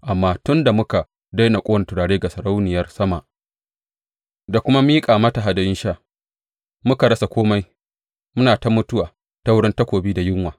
Amma tun da muka daina ƙone turare ga Sarauniyar Sama da kuma miƙa mata hadayun sha, muka rasa kome muna ta mutuwa ta wurin takobi da yunwa.